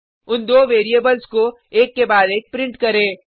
उन दो वेरिएबल्स को एक के बाद एक प्रिंट करें